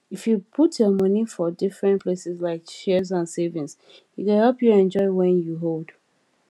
if you put your money for different places like shares and savings e go help you enjoy when you old